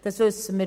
Das wissen wir.